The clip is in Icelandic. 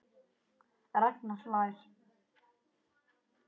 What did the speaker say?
Ragnar hlær.